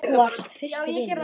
Þú varst fyrsti vinur minn.